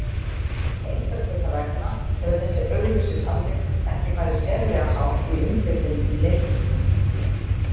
Einhverra hluta vegna hefur þessi augljósi sannleikur ekki farið sérlega hátt í umfjöllun um leikinn.